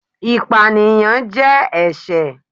ìpáníyán jẹ ẹṣẹ